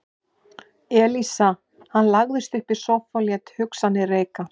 Elísa Hann lagðist upp í sófa og lét hugsanirnar reika.